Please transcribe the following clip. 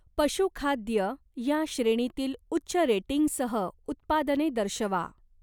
पशु खाद्य या श्रेणीतील उच्च रेटिंगसह उत्पादने दर्शवा.